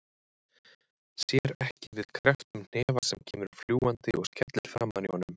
Sér ekki við krepptum hnefa sem kemur fljúgandi og skellur framan í honum.